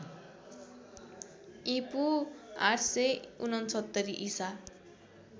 ईपू ८६९ ईसा